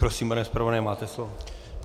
Prosím, pane zpravodaji, máte slovo.